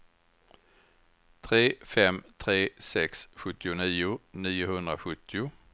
tre fem tre sex sjuttionio niohundrasjuttio